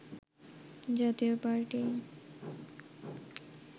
জাতীয় পার্টি